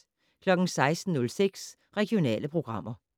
16:06: Regionale programmer